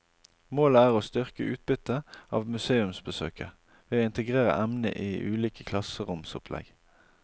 Målet er å styrke utbyttet av museumsbesøket, ved å integrere emnet i ulike klasseromsopplegg.